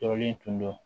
Tɔɔrɔlen tun do